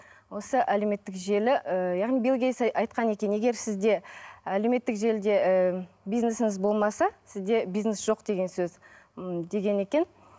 осы әлеуметтік желі ыыы яғни билл гейтс айтқан екен егер сізде әлеуметтік желіде ііі бизнесіңіз болмаса сізде бизнес жоқ деген сөз ммм декен екен